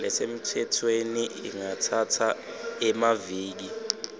lesemtsetfweni ingatsatsa emaviki